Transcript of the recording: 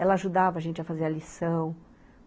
Ela ajudava a gente a fazer a lição.